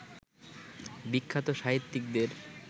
বিখ্যাত সাহিত্যিকদের